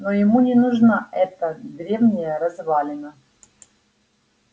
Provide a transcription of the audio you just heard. но ему не нужна эта древняя развалина